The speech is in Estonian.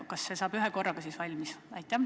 Kas see saab ühekorraga valmis?